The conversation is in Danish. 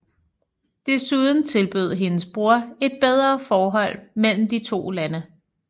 Desuden tilbød hendes bror et bedre forhold mellem de to lande